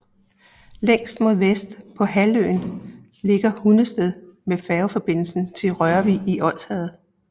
Længst mod vest på halvøen ligger Hundested med færgeforbindelse til Rørvig i Odsherred